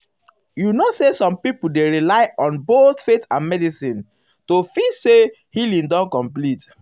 you know say some people dey rely on both faith and medicine o to to feel say healing don complete. um